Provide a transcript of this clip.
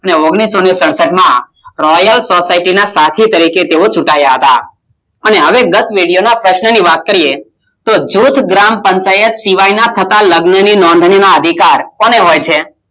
ઓગણીસો સડસઠ માં રોયલ સોસાયટી ના સાથી તરીકે તેવો ચૂંટાયા હતા તો હવે દસ્મિનીટ માં જોજ ગ્રામ પંચાયતમાં થતો લગ્ન નો અધિકાર કોને હોય છે